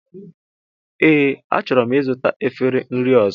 Ee, achọrọ m ịzụta efere nri ọzọ